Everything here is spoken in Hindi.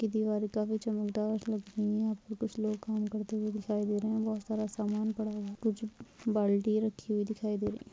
ये दिवारे काफी चमकदार लग रही है यहा पे कुछ लोग काम करते हुए दिखाई दे रहे हैबहुत सारा समान पडा हुआ है कुछ बाल्टियाँ रखी हुई दिखाई दे रही--